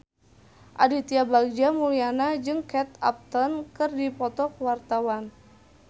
Aditya Bagja Mulyana jeung Kate Upton keur dipoto ku wartawan